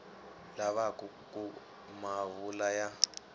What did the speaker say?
lavaka ku ma vula ya